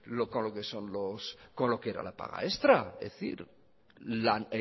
lo que era la paga extra